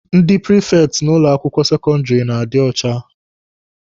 Ndị prifekti n'ụlọ akwụkwọ sekọndịrị na-adị ọcha.